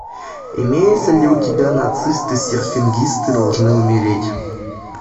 имеется ли у тебя нацисты серфингисты должны умереть